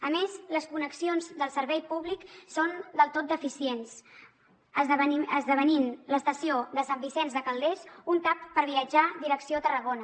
a més les connexions del servei públic són del tot deficients esdevenint l’estació de sant vicenç de calders un tap per viatjar direcció tarragona